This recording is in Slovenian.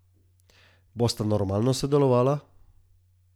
Bosta normalno sodelovala?